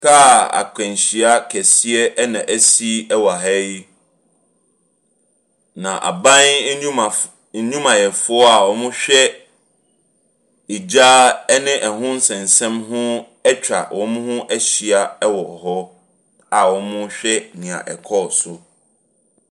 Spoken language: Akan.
Kaa akwanhyia kɛseɛ na asi wɔ ha yi, na aban nnwumaf nnwumayɛfoɔ a wɔhwɛ gya ne ho nsɛnsɛm atwa wɔn ho ahyia wɔ hɔ a wɔrehwɛ nea ɛkɔɔ so.